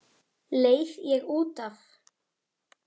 Leið ég út af?